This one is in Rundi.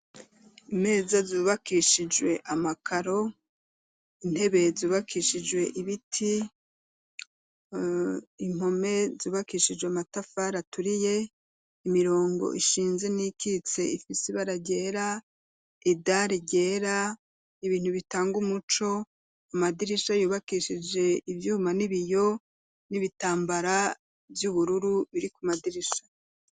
Imeza zubakishijwe amakaro, intebe zubakishijwe ibiti, impome zubakishijwe amatafari aturiye, imirongo ishinze n'iyikitse ifise ibara ryera, idari ryera, ibintu bitanga umuco, amadirisha yubakishije ivyuma n'ibiyo, n'ibitambara vy'ubururu biri ku madirisha.